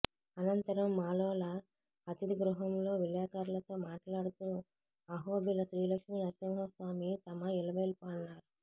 అనంతరం మాలోల అతిధి గృహంలో విలేఖర్లతో మాట్లాడుతూ అహోబిల శ్రీ లక్ష్మీనరసింహస్వామి తమ ఇలవేల్పు అన్నారు